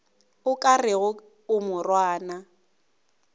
o ka rego a morwana